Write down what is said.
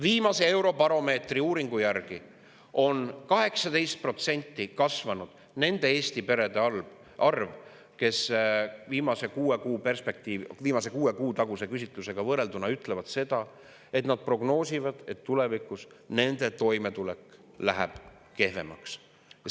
Viimase Eurobaromeetri uuringu järgi on kuue kuu taguse küsitlusega võrrelduna 18% kasvanud nende Eesti perede arv, kes ütlevad, et nad prognoosivad, et tulevikus nende toimetulek läheb kehvemaks.